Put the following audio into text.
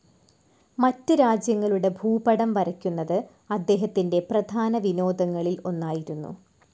മറ്റ് രാജ്യങ്ങളുടെ ഭൂപടം വരയ്ക്കുന്നത് അദ്ദേഹത്തിൻ്റെ പ്രധാനവിനോദങ്ങളിൽ ഒന്നായിരുന്നു.